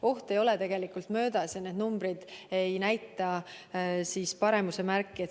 Oht ei ole tegelikult möödas ja need numbrid ei näita paranemise märke.